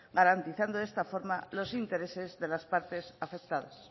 garantizando de esta forma los intereses de las partes afectadas